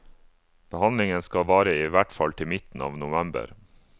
Behandlingen skal vare i hvert fall til i midten av november.